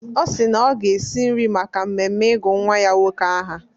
Ọ si na ọ ga-esi nri maka mmemme ịgụ nnwa ya nwoke aha.